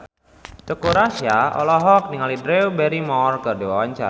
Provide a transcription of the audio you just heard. Teuku Rassya olohok ningali Drew Barrymore keur diwawancara